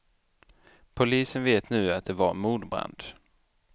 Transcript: Polisen vet nu att det var mordbrand.